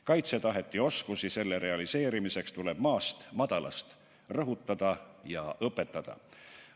Kaitsetahet ja oskusi selle realiseerimiseks tuleb maast madalast rõhutada ja õpetada.